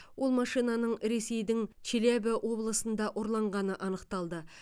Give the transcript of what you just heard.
ол машинаның ресейдің челябі облысында ұрланғаны анықталды